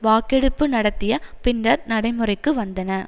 வாக்கெடுப்பு நடத்திய பின்னர் நடைமுறைக்கு வந்தன